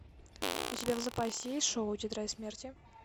у тебя в запасе есть шоу тетрадь смерти